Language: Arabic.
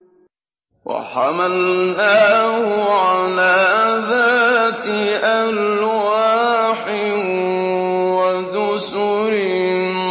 وَحَمَلْنَاهُ عَلَىٰ ذَاتِ أَلْوَاحٍ وَدُسُرٍ